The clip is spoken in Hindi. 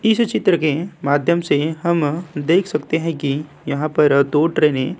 इस चित्र के माध्यम से हम देख सकते हैं की यहाँ पर दो ट्रैने --